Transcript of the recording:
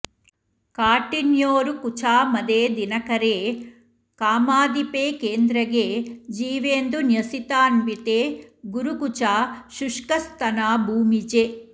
काठिन्योरुकुचा मदे दिनकरे कामाधिपे केन्द्रगे जीवेन्दुज्ञसितान्विते गुरुकुचा शुष्कस्तना भूमिजे